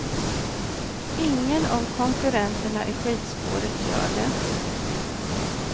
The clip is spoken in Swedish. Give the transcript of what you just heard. Ingen av konkurrenterna i skidspåret gör det.